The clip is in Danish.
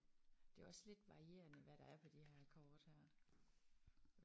Det er også lidt varierende hvad der er på de her kort her